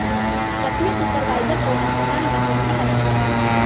जख्मी सुपरवाइजर को अस्पताल में भर्ती कराना पड़ा